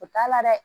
O t'a la dɛ